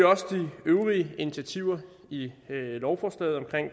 også de øvrige initiativer i lovforslaget omkring